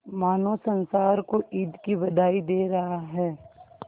मानो संसार को ईद की बधाई दे रहा है